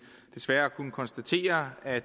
desværre har kunnet konstatere at